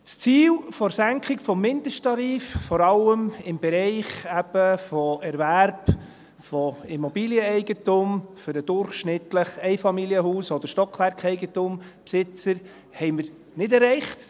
Das Ziel der Senkung des Mindesttarifs, vor allem im Bereich eben von Erwerb von Immobilieneigentum für den durchschnittlichen Einfamilienhaus- oder Stockwerkeigentumbesitzer, haben wir nicht erreicht.